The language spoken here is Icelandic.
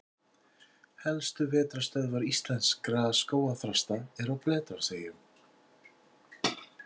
Helstu vetrarstöðvar íslenskra skógarþrasta eru á Bretlandseyjum.